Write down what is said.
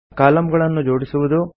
ಕಾಲಂಗಳನ್ನು ಜೋಡಿಸುವುದು